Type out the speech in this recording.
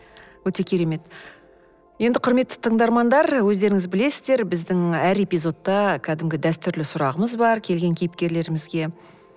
өте керемет енді құрметті тындармандар өздеріңіз білесіздер біздің әр эпизодта кәдімгі дәстүрлі сұрағымыз бар келген кейіпкерлерімізге